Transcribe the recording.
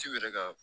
Ciw yɛrɛ ka